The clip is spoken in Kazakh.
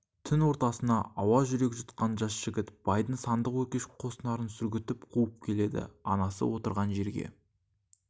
түн ортасы ауа жүрек жұтқан жас жігіт байдың сандық өркеш қос нарын сүргітіп қуып келеді анасы отырған жерге